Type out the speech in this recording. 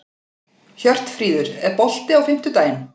Hjörtfríður, er bolti á fimmtudaginn?